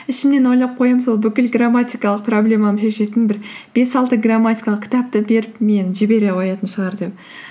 ішімнен ойлап қоямын сол бүкіл грамматикалық проблемамды шешетін бір бес алты грамматикалық кітапты беріп мені жібере қоятын шығар деп